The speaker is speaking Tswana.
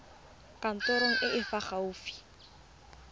kantorong e e fa gaufi